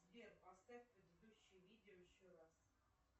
сбер поставь предыдущее видео еще раз